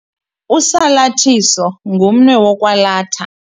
Usalathiso ngumnwe wokwalatha.